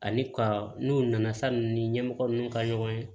Ani ka n'u nana sanni ni ɲɛmɔgɔ ninnu ka ɲɔgɔn ye